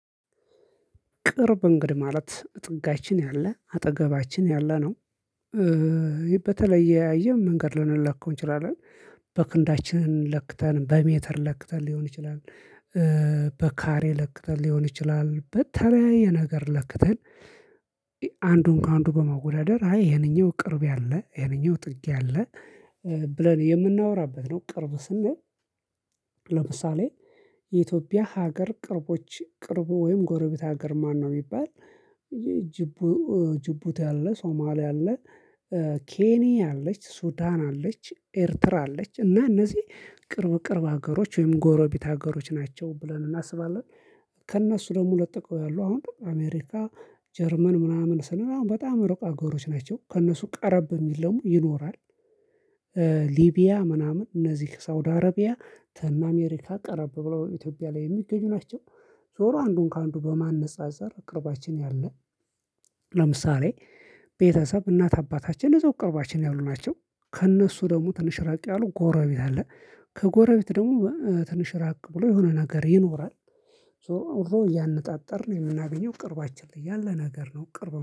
ቅርብ እንግዲህ ማለት ጥጋችን ያለ አጠገባችን ያለ ነው። በተለያየ መንገድ ልንለካው እንችላለን። በክንዳችን ለክተን በሜትር ለክተን ሊሆን ይችላል። በካሬ ለክተን ሊሆን ይችላል በተለያየ ነገር ለክተን። አንዱን ከአንዱ በማወዳደር አይ ህንኛው ቅርብ ያለ ህንኛው ጥግ ያለ ብለን የምናወራበት ነው። ቅርብ ስንል። ለምሳሌ የኢትዮጵያ ሀገር ቅርቦች ቅርቡ ወይም ጎረቤት ሀገር ማነው የሚባል? ጂቡቲ አለ ሶማሌ አለ። ኬኒያ አለች ሱዳን አለች ኤርትራ አለች እና እነዚህ ቅርብ ቅርብ ሀገሮች ወይም ጎረቤት ሀገሮች ናቸው ብለን እናስባለን። ከእነሱ ደግሞ ቀጥለው ያሉ አሁን አሜሪካ ጀርመን ምናምን ስንል አሁን በጣም ሩቅ ሀገሮች ናቸው ከእነሱ ቀረብ የሚለው ይኖራል። ሊቢያ ምናምን እነዚህ ከሳውዲ አረቢያ ከአሜሪካ ቀረብ ብለው ኢትዮጵያ ላይ የሚገኙ ናቸው። ዞሮ አንዱን ከአንዱ በማነፃፀር ቅርባችን ያለ። ለምሳሌ ቤተሰብ እናት አባታችን እዛው ቅርባችን ያሉ ናቸው። ከእነሱ ደግሞ ትንሽ ራቅ ያሉ ጎረቤት አለ። ከጎረቤት ደግሞ ትንሽ ራቅ ብሎ የሆነ ነገር ይኖራል። ዙሮዙሮ እያነፃፀርን የምናገኘው ቅርባችን ላይ ያለ ነገር ነው። ቅርብ